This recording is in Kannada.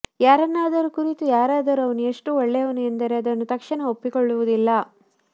ಯಾರನ್ನಾದರೂ ಕುರಿತು ಯಾರಾದರೂ ಅವನು ಎಷ್ಟು ಒಳ್ಳೆಯವನು ಎಂದರೆ ಅದನ್ನು ತಕ್ಷಣ ಒಪ್ಪಿಕೊಳ್ಳುವುದಿಲ್ಲ